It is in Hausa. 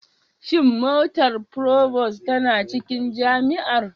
Shin motar provost tana cikin jami'ar?